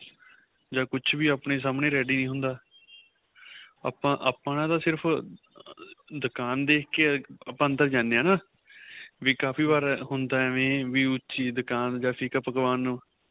ਜਾਂ ਕੁੱਛ ਵੀ ਆਪਣੇਂ ਸਾਹਮਣੇ ready ਹੁੰਦਾ ਆਪਾਂ ਆਪਣਾ ਤਾਂ ਸਿਰਫ਼ ਦੁੱਕਾਨ ਦੇਖਕੇ ਆਪਾਂ ਅੰਦਰ ਜਾਂਦੇ ਆਂ ਵੀ ਕਾਫ਼ੀ ਵਾਰ ਹੁੰਦਾ ਐਵੇ ਏ ਵੀ ਉੱਚੀ ਦੁਕਾਨ ਜਾਂ ਫਿੱਕਾ ਪਕਵਾਂਨ